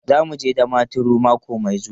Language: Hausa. Za mu je Damaturu mako mai zuwa.